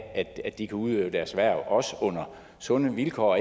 at de kan udøve deres hverv også under sunde vilkår